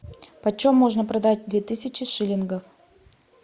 почем можно продать две тысячи шиллингов